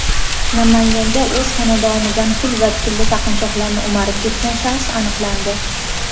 Namanganda o‘z xonadonidan pul va tilla taqinchoqlarni o‘marib ketgan shaxs aniqlandi.